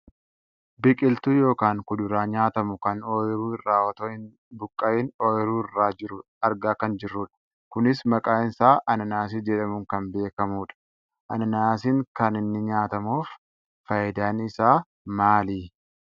Biqiltuu yookaan kuduraa nyaatamu kan ooyiruu irraa otoo hin buqqa'iin ooyiruu irra jiru argaa kan jirrudha. Kunis maqaan isaa ananaasii jedhamuun kan beekkamudha. Ananaasiin kan inni nyaatamuuf fayidaan isaa maali?